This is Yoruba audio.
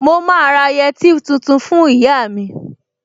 Mo máa ra yẹtí tuntun fún ìyá mi